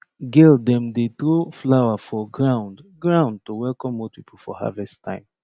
girl dem dey throw flower for ground ground to welcome old people for harvest time